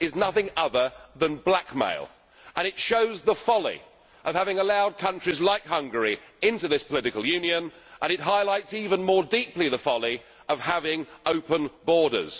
is nothing other than blackmail, and it shows the folly of having allowed countries like Hungary into this political Union and highlights even more deeply the folly of having open borders.